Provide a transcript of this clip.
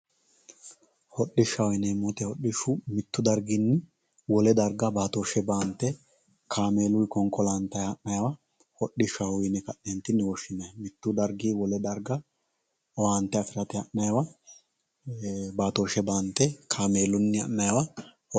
hodhishshaho yineemmo woyte mittu darginni baatooshshe baante kaameeluyi konkolantayi ha'naywa hodhishshaho yine ka'neeninni woshshinanni mittu dargi wole darga owante afirate ha'naywa baatooshshe baantte kaameelunni ha'naywa